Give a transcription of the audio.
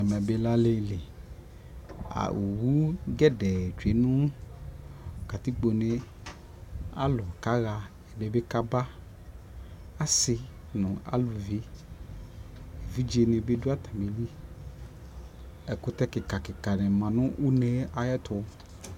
Ɛmɛ bi lɛ aliliƆwu gedee tsue nu katikpo ne Alu ka ɣaƐdi bi kabaAsi nu aluviƐvidze bi du ata mi liƐkutɛ kikakika ma nu une ayɛtu